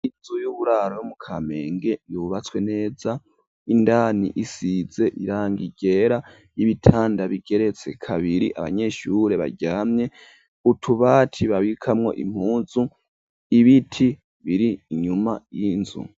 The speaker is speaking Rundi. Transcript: Inzu y'uburaro yo mu Kamenge yubatswe neza indani isize irangi ryera y'ibitanda bigeretse kabiri abanyeshure baryamye utubati babikamwo impuzu ibiti biri inyuma y'inzu.